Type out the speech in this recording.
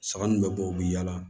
Saga nunnu bɛ bɔ u bɛ yaala